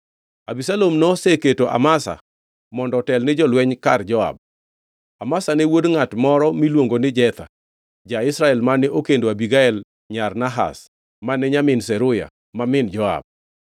Abisalom noseketo Amasa mondo otel ni jolweny kar Joab. Amasa ne wuod ngʼat moro miluongo ni Jetha, ja-Israel mane okendo Abigael, nyar Nahash mane nyamin Zeruya ma min Joab.